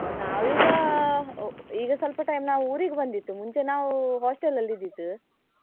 ನಾವೀಗಾ, ಈಗ ಸ್ವಲ್ಪ time ಊರಿಗೆ ಬಂದಿತ್, ಮುಂಚೆ ನಾವು hostel ಅಲ್ಲಿ ಇದ್ದಿತ್.